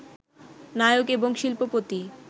নায়ক এবং শিল্পপতি